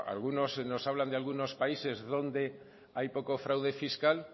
a algunos se nos habla de algunos países donde hay poco fraude fiscal